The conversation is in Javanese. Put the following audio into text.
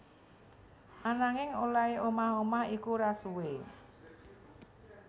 Ananging olèhé omah omah iku ora suwé